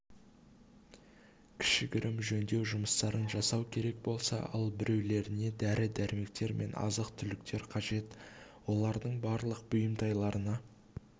кішігірім жөндеу жұмыстарын жасау керек болса ал біреулеріне дәрі-дәрмектер мен азық-түліктер қажет олардың барлық бұйымтайларына